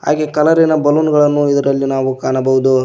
ಹಾಗೆ ಕಲರಿನ ಬಲೂನ್ ಗಳನ್ನು ಇದರಲ್ಲಿ ನಾವು ಕಾಣಬಹುದು.